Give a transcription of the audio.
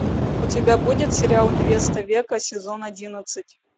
у тебя будет сериал невеста века сезон одиннадцать